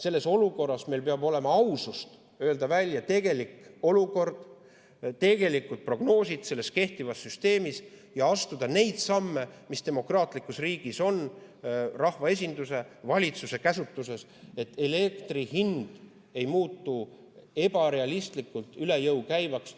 Selles olukorras peab meil olema ausust öelda välja, milline on tegelik olukord ja millised on tegelikult prognoosid kehtivas süsteemis, ning astuda neid samme, mis demokraatlikus riigis on rahvaesinduse ja valitsuse käsutuses, et elektri hind ei muutuks ebarealistlikult üle jõu käivaks.